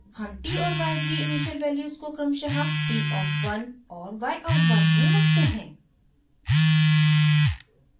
हम t और y की इनिशियल वैल्यूज़ को क्रमशः t of one और y of one में रखते हैं